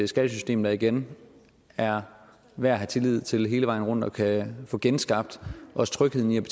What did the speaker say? skattesystem der igen er værd at have tillid til hele vejen rundt så vi kan få genskabt også trygheden ved